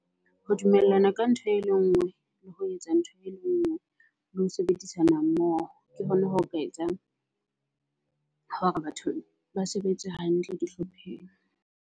Ho dumellana ka ntho e le e nngwe, le ho etsa ntho e le nngwe, le ho sebedisana mmoho. Ke hona ho ka etsang batho ba sebetse hantle dihlopheng.